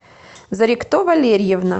зорикто валерьевна